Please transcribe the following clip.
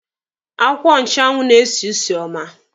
Akwụkwọ nchụanwụ na-esi usi ọma.